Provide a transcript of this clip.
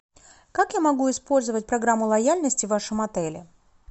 как я могу использовать программу лояльности в вашем отеле